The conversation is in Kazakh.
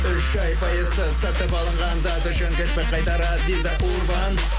үш ай пайызсыз сатып алынған зат үшін чекті қайтарады виза урбан